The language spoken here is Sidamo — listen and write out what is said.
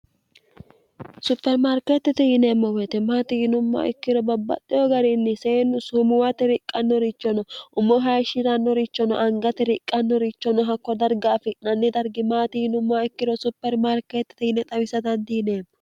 supermaarkeettete yineemmo wetemaati yinummoa ikkiro babbaxxeho garinni seennu sumuwate riqqannorichono ummo hayishshi'rannorichono angate riqqannorichono hakko darga afi'nanni dargimaati yinummoa ikkiro supermaarkeettete yine xawisadandiineemmo